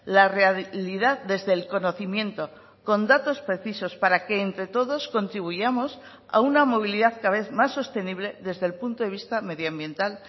la realidad desde el conocimiento con datos precisos para que entre todos contribuyamos a una movilidad cada vez más sostenible desde el punto de vista medioambiental